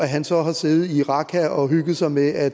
han så har siddet i raqqa og hygget sig med at